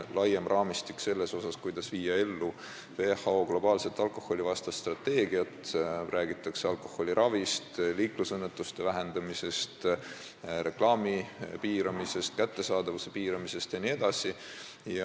Laiem raamistik hõlmab seal seda, kuidas viia ellu WHO globaalset alkoholivastast strateegiat, räägitakse alkoholiravist, liiklusõnnetuste arvu vähendamisest, alkoholireklaami piiramisest, alkoholi kättesaadavuse piiramisest jne.